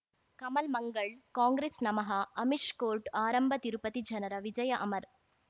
ಕಮಲ್ ಮಂಗಳ್ ಕಾಂಗ್ರೆಸ್ ನಮಃ ಅಮಿಷ್ ಕೋರ್ಟ್ ಆರಂಭ ತಿರುಪತಿ ಜನರ ವಿಜಯ ಅಮರ್